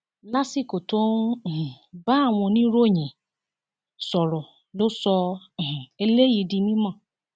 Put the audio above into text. lásìkò tó ń um bá àwọn oníròyìn sọrọ ló sọ um eléyìí di mímọ